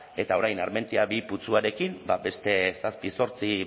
eta orain armentia bigarren putzuarekin ba beste zazpi zortzi